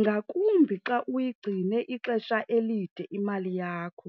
ngakumbi xa uyigcine ixesha elide imali yakho.